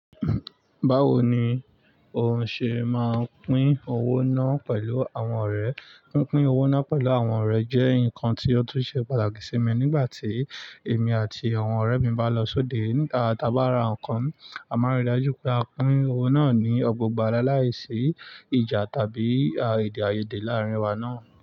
Báwo ni o ṣe máa pín owó náà pẹ̀lú àwọn ọ̀rẹ́? Pín pin owó náà pẹ̀lú àwọn ọ̀rẹ́ jẹ́ nǹkan tí ó tún ṣe pàtàkì sí mi nígbà tí èmi àti àwọn ọ̀rẹ́ mi bá lọ sóde. Nígbà tá a bá ra nǹkan, a máa n ri dájú pé a pín owó náà ní ọgbọ́ gbà laláìsí ìjà tàbí àìde ààyède láàrin wa náà.